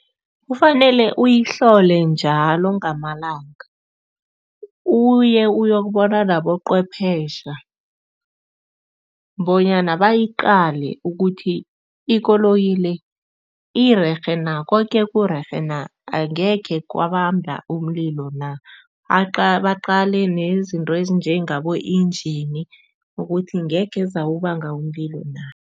Kufanele uyihlole njalo ngamalanga uye uyokubona nabocwephesha bonyana bayiqale ukuthi ikoloyi le irerhe na koke kurerhe na, angekhe kwabamba umlilo na. Baqale nezinto ezinjengabo-engen ukuthi ngekhe zawubanga umlilo na.